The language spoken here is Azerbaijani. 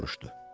Soruşdu.